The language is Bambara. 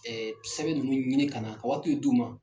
sɛbɛn ninnu ɲini ka na ka waatiw d'u ma.